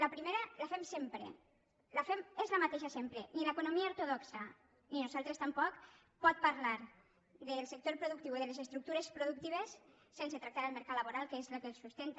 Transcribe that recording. la primera la fem sempre és la mateixa sempre ni l’economia ortodoxa ni nosaltres tampoc podem parlar del sector productiu o de les estructures productives sense tractar el mercat laboral que és el que la sustenta